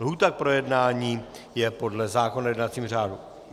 Lhůta k projednání je podle zákona o jednacím řádu.